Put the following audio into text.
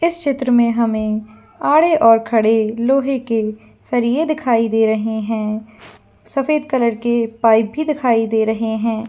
इस चित्र में हमें आड़े और खड़े लोहे के सर यह दिखाई दे रहे हैं सफेद कलर के पाइप भी दिखाई दे रहे है।